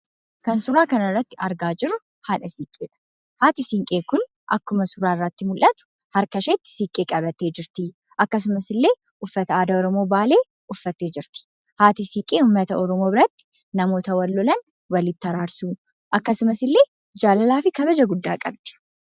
Kan suuraa kanarratti argaa jirru haadha siiqqeedha. Haati siiqqee kun akkuma suuraarratti mul'atu harkasheetti Siiqqee qabattee jirti. Akkasumasillee uffata aadaa Oromoo baalee uffattee jirti. Haati Siiqqee uummata Oromoo biratti namoota wal lolan walitti araarsuu, akkasumasillee jaalalaafi kabaja guddaa qabdi.